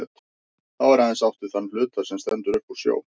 Þá er aðeins átt við þann hluta, sem stendur upp úr sjó.